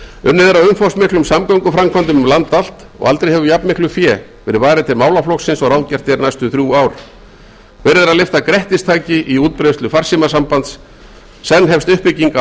er að umfangsmiklum samgönguframkvæmdum um land allt og aldrei hefur jafnmiklu fé verið varið til málaflokksins og ráðgert er næstu þrjú ár verið er að lyfta grettistaki í útbreiðslu farsímasambands senn hefst uppbygging á